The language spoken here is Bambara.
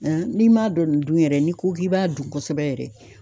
N'i m'a dɔn nin dun yɛrɛ n'i ko k'i b'a dun kosɛbɛ yɛrɛ